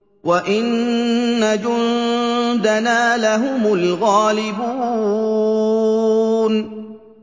وَإِنَّ جُندَنَا لَهُمُ الْغَالِبُونَ